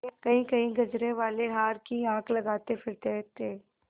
कहींकहीं गजरेवाले हार की हाँक लगाते फिरते थे